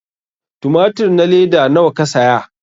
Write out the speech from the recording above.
tumatur na leda nawa ka saya?